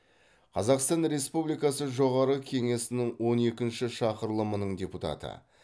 қазақстан республикасы жоғарғы кеңесінің он екінші шақырылымының депутаты